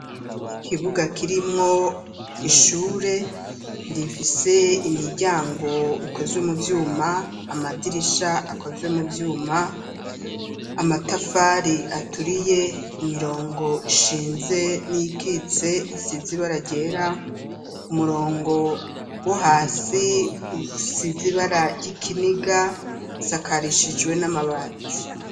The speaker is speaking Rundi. Ikibuga kirimwo ishure rifise imiryango ikozwe mu vyuma ,amadirisha akozwe mu vyuma, amatafari aturiye ,imirongo ishinze n'iyikitse isize ibara ryera, umurongo wo hasi usize ibara ry'ikiniga usakarishijwe n'amabati.